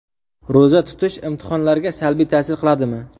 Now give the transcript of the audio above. Ro‘za tutish imtihonlarga salbiy ta’sir qiladimi?.